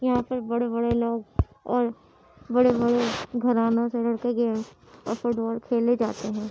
यहा पे बड़े-बड़े लोग और बड़े-बड़े घरानो से और फुटबॉल खेले जाते है।